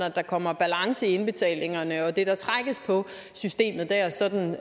at der kommer balance i indbetalingerne og det der trækkes på systemet der sådan